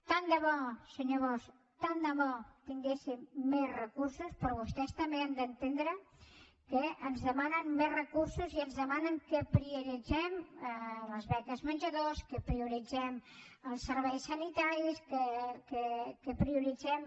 tant de bo senyor bosch tant de bo tinguéssim més recursos però vostès també han d’entendre que ens demanen més recursos i ens demanen que prioritzem les beques menjador que prioritzem els serveis sanitaris que prioritzem